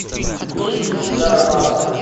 есть ли у тебя романовы